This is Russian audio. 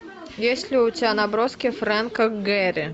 есть ли у тебя наброски фрэнка гэри